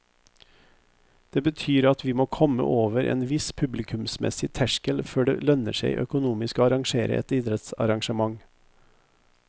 Det betyr at vi må komme over en viss publikumsmessig terskel før det lønner seg økonomisk å arrangere et idrettsarrangment.